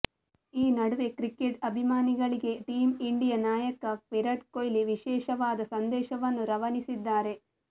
ಈ ನಡುವೆ ಕ್ರಿಕೆಟ್ ಅಭಿಮಾನಿಗಳಿಗೆ ಟೀಮ್ ಇಂಡಿಯಾ ನಾಯಕ ವಿರಾಟ್ ಕೊಹ್ಲಿ ವಿಶೇಷವಾದ ಸಂದೇಶವನ್ನು ರವಾನಿಸಿದ್ದಾರೆ